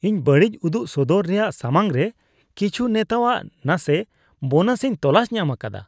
ᱤᱧ ᱵᱟᱹᱲᱤᱡ ᱩᱫᱩᱜ ᱥᱚᱫᱚᱨ ᱨᱮᱭᱟᱜ ᱥᱟᱢᱟᱝ ᱨᱮ ᱠᱤᱪᱷᱩ ᱱᱮᱛᱟᱣᱟᱜ ᱱᱟᱥᱮ ᱵᱳᱱᱟᱥ ᱤᱧ ᱛᱚᱞᱟᱥ ᱧᱟᱢ ᱟᱠᱟᱫᱟ ᱾